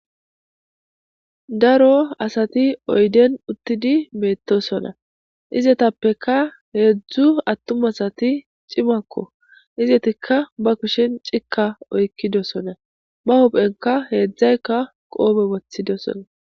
daro asati oyden uttidi beettosona izetappeka heedzdzu attum asati cimakko izetikka ba kushen cika oykkidosona ba hopphenka heedzdzaykka qoobe wothidosona